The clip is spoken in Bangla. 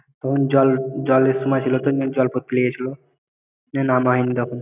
তখন জল জলের সময় ছিল তো জলপথ ফেলে গেছিল জন্য নামা হয়নি তখন